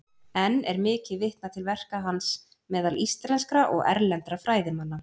Enn er mikið vitnað til verka hans meðal íslenskra og erlendra fræðimanna.